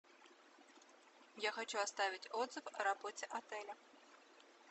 я хочу оставить отзыв о работе отеля